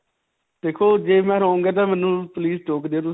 ਦੇਖੋ ਜੇ ਮੈਂ wrong ਹਾਂ ਤਾਂ ਮੈਨੂੰ please ਟੋਕ ਦਿਓ ਤੁਸੀਂ.